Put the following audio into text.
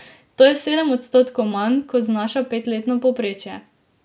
To je sedem odstotkov manj, kot znaša petletno povprečje.